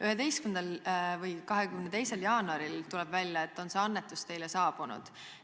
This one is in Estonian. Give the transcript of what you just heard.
11. või 22. jaanuaril, tuleb välja, et on see annetus teile saabunud.